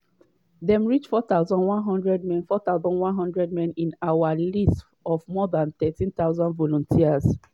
dem reach 4100 men 4100 men in our list of more dan 13000 volunteers.